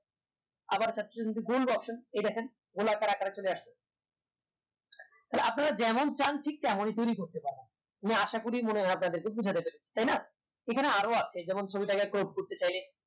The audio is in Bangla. আবার option এই দেখেন গোল আকারে চলে নাসে থালে আপনারা যেমন চান ঠিক তেমনি তৈরী করতে পারেন আমি আশা করি মনে হয় আপনাদের বোঝাতে পেরেছি তাইনা এখানে আরো আছে যেমন ছবিটাকে crop করতে চাইলে